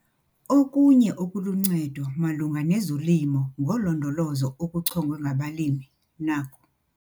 Okunye okuluncedo malunga nezoLimo ngoLondolozo okuchongwe ngabalimi naku.